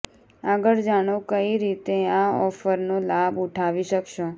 આગળ જાણો કઈ રીતે આ ઑફરનો લાભ ઉઠાવી શકશો